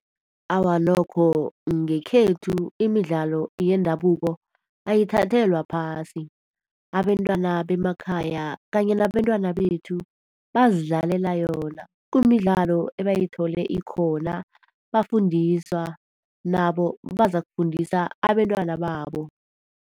Awa, nokho ngekhethu imidlalo yendabuko ayithathelwa phasi. Abentwana bemakhaya kanye nabentwana bethu bazidlalela yona. Kumidlalo ebayithole ikhona, bafundiswa. Nabo bazakufundisa abentwana babo.